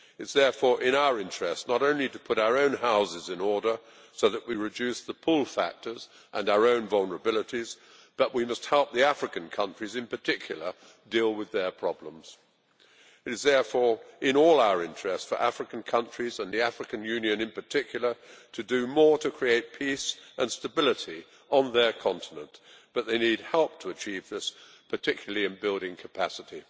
It is therefore in our interest not only to put our own houses in order so that we reduce the pull factors and our own vulnerabilities, but also to help the African countries, in particular, to deal with their problems. It is thus in all our interests for African countries, and the African Union in particular, to do more to create peace and stability on their continent, but they need help to achieve this, particularly in building capacity.